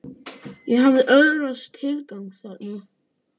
Ég hafði öðlast tilgang þarna.